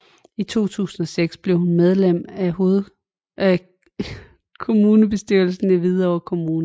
I 2006 blev hun medlem af kommunalbestyrelsen i Hvidovre Kommune